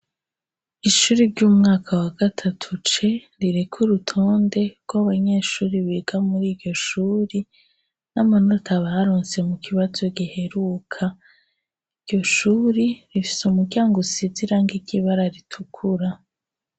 Ishuri ry'umwaka wa gatatu ce ririka urutonde rwo'abanyeshuri biga muri iryoshuri n'amanota barunse mu kibazo giheruka iryo shuri rifise umuryango usizirang iryoibara ritukura.